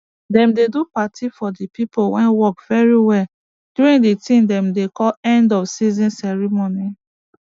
dem dey do party for de pipo wey work very well during de tin dem dey call end of season ceremony